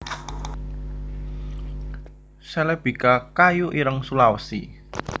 celebica kayu ireng Sulawesi